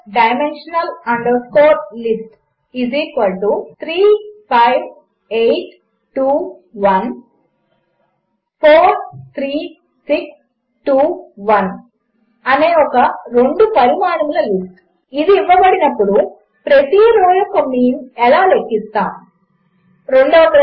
1 two dimensional list3582143621 అనే ఒక రెండు పరిమాణముల లిస్ట్ ఇవ్వబడినప్పుడు ప్రతి రో యొక్క మీన్ ఎలా లెక్కించుతాము